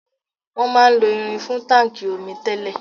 Wọn máà ń lo irin fún táńkì omi tẹ́lẹ̀.